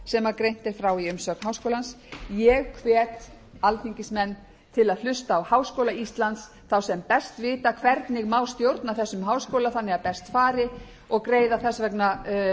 sem greint er frá í umsögn háskólans ég hvet alþingismenn til að hlusta á háskóla íslands þá sem best vita hvernig má stjórna þessum háskóla þannig að best fari og greiða þess vegna